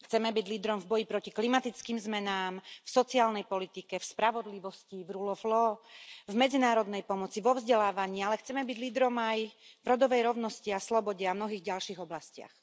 Chceme byť lídrom v boji proti klimatickým zmenám, v sociálnej politike, v spravodlivosti, v v medzinárodnej pomoci, vo vzdelávaní, ale chceme byť lídrom aj v rodovej rovnosti a slobode a v mnohých ďalších oblastiach.